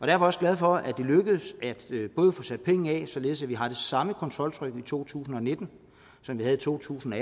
jeg også glad for at det lykkedes at få sat penge af således at vi har det samme kontroltryk i to tusind og nitten som vi havde i to tusind og